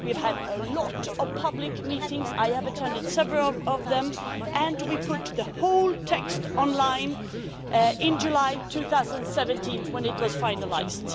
We have had a lot of public meetings, I have attended several of them, and we put the whole text online in July 2017 when it was finalised.